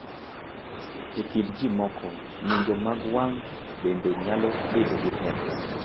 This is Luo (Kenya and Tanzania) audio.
E kind ji moko, ng’injo mag wang’ bende nyalo bedo gi pek.